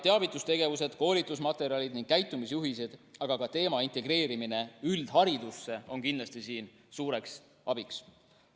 Teavitustegevused, koolitusmaterjalid ning käitumisjuhised, aga ka teema integreerimine üldharidusse on siin kindlasti suureks abiks.